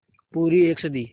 पूरी एक सदी